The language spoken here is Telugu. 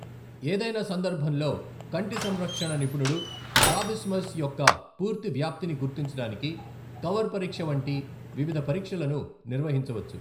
ఏదైనా సందర్భంలో, కంటి సంరక్షణ నిపుణుడు స్ట్రాబిస్మస్ యొక్క పూర్తి వ్యాప్తిని గుర్తించడానికి కవర్ పరీక్ష వంటి వివిధ పరీక్షలను నిర్వహించవచ్చు.